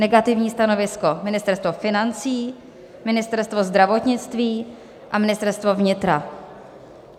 Negativní stanovisko: Ministerstvo financí, Ministerstvo zdravotnictví a Ministerstvo vnitra.